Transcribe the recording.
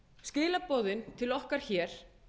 skilaboðin til okkar hér